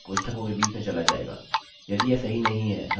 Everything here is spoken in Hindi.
समान संरचना अतः दो कर्ली कोष्ठक